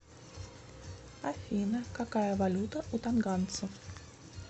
афина какая валюта у тонганцев